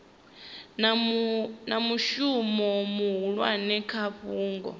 na mushumo muhulwane kha fhungo